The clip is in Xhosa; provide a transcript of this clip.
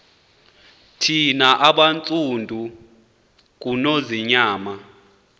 thina bantsundu ngunonzinyana